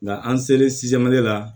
Nka an selen la